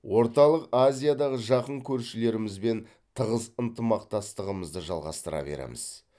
орталық азиядағы жақын көршілерімізбен тығыз ынтымақтастығымызды жалғастыра береміз